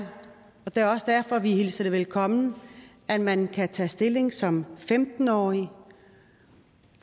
det er også derfor vi hilser det velkommen at man kan tage stilling som femten årig